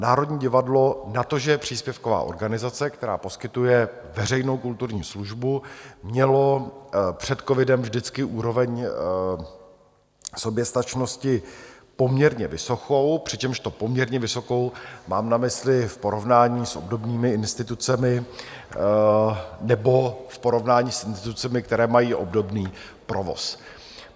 Národní divadlo na to, že je příspěvková organizace, která poskytuje veřejnou kulturní službu, mělo před covidem vždycky úroveň soběstačnosti poměrně vysokou, přičemž to "poměrně vysokou" mám na mysli v porovnání s obdobnými institucemi nebo v porovnání s institucemi, které mají obdobný provoz.